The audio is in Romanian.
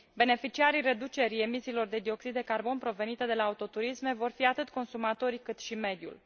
Beneficiarii reducerii emisiilor de dioxid de carbon provenite de la autoturisme vor fi atât consumatorii, cât și mediul.